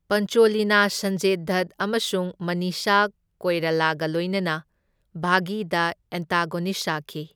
ꯄꯟꯆꯣꯂꯤꯅ ꯁꯟꯖꯌ ꯗꯠ ꯑꯃꯁꯨꯡ ꯃꯅꯤꯁꯥ ꯀꯣꯏꯔꯥꯂꯥꯒ ꯂꯣꯢꯅꯅ ꯕꯥꯘꯤꯗ ꯑꯦꯟꯇꯥꯒꯣꯅꯤꯁ꯭ꯠ ꯁꯥꯈꯤ꯫